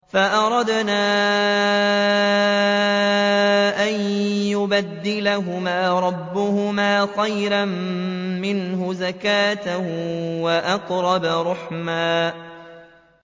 فَأَرَدْنَا أَن يُبْدِلَهُمَا رَبُّهُمَا خَيْرًا مِّنْهُ زَكَاةً وَأَقْرَبَ رُحْمًا